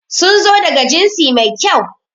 Sun zo daga jinsi mai kyau.